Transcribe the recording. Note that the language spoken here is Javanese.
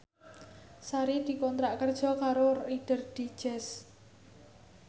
Sari dikontrak kerja karo Reader Digest